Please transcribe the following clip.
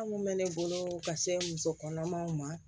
bɛ ne bolo ka se muso kɔnɔmaw ma